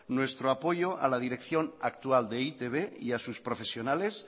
nuestro apoyo a la dirección actual de e i te be y a sus profesionales